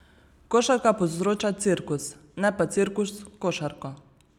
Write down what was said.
Košarka povzroča cirkus, ne pa cirkus košarko.